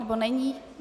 Nebo není?